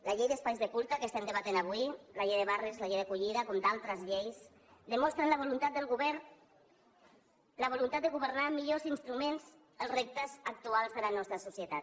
la llei d’espais de culte que estem debatent avui la llei de barris la llei d’acollida com altres lleis demostren la voluntat de governar amb millors instruments els reptes actuals de la nostra societat